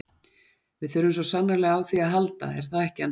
Við þurfum svo sannarlega á því að halda er það ekki annars?